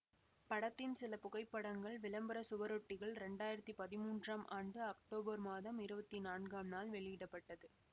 படத்தின் சில புகைப்படங்கள் விளம்பர சுவரொட்டிகள் இரண்டாயிரத்தி பதிமூன்றாம் ஆண்டு அக்டோபர் மாதம் இருவத்தி நான்காம் நாள் வெளியிட பட்டது